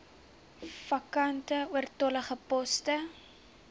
vakante oortollige poste